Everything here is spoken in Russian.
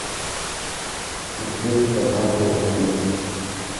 смотреть однажды в россии